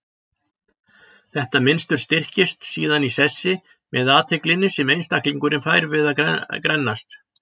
Þetta mynstur styrkist síðan í sessi með athyglinni sem einstaklingurinn fær við að grennast.